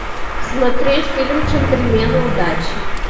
смотреть фильм джентльмены удачи